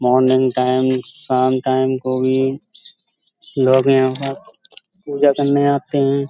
Morning time शाम time को भी लोग यहाँ पे पूजा करने आते हैं।